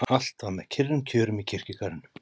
Allt var með kyrrum kjörum í kirkjugarðinum.